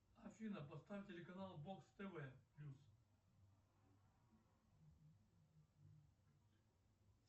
афина поставь телеканал бокс тв плюс